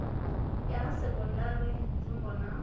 ha ya sekondari dzingo na